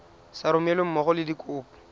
sa romelweng mmogo le dikopo